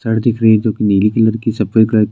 shirt दिख रही जो कि नीले कलर की सफ़ेद कलर --